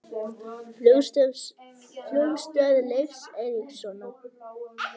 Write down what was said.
Flugstöð Leifs Eiríkssonar.